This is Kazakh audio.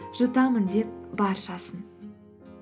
жұтамын деп баршасын